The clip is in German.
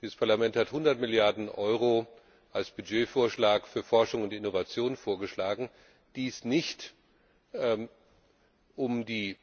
Dieses Parlament hat 100 Milliarden Euro als Mittelansatz für Forschung und Innovation vorgeschlagen. Dies nicht, um die